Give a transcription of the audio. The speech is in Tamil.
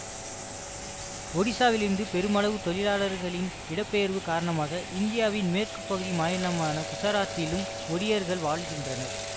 ஒடிசாவிலிருந்து பெருமளவு தொழிலாளர்களின் இடப்பெயர்வு காரணமாக இந்தியாவின் மேற்கு பகுதி மாநிலமான குசராத்திலும் ஒடியர்கள் வாழுகிகின்றனர்